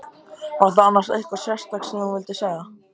Var það annars eitthvað sérstakt sem þú vildir segja?